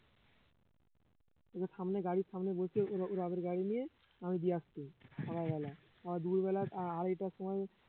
ওরে সামনে গাড়ির সামনে বসিয়ে ওরে ওরে আবার গাড়ি নিয়ে আমি দিয়ে আসতুম সকালবেলা আবার দুপুরবেলা আড়াইটার সময়